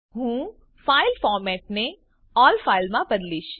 હું ફાઈલ ફોર્મેટને અલ્લ ફાઇલ માં બદલીશ